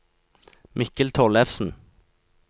Mikkel Tollefsen